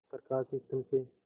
प्रकाश स्तंभ से